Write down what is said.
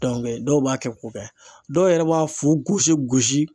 dɔw b'a kɛ ko kɛ, dɔw yɛrɛ b'a fu gosi gosi